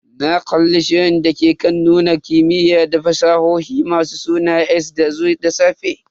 Na kalli shirin dake kan nuna kimiyya da fasahohi mai suna "Ex machina" dazu da safe.